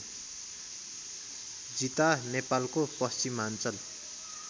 जिता नेपालको पश्चिमाञ्चल